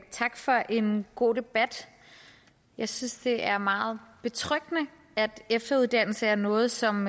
tak for en god debat jeg synes at det er meget betryggende at efteruddannelse er noget som